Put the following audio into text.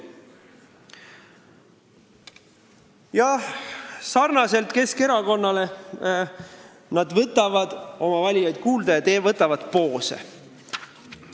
Jah, sarnaselt Keskerakonnaga võtavad nad oma valijaid kuulda ja võtavad poose.